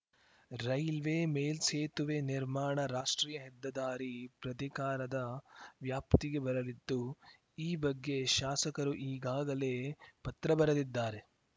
railway ಮೇಲ್ಸೇತುವೆ ನಿರ್ಮಾಣ ರಾಷ್ಟ್ರೀಯ ಹೆದ್ದದಾರಿ ಪ್ರಾಧಿಕಾರದ ವ್ಯಾಪ್ತಿಗೆ ಬರಲಿದ್ದು ಈ ಬಗ್ಗೆ ಶಾಸಕರು ಈಗಾಗಲೇ ಪತ್ರಬರೆದಿದ್ದಾರೆ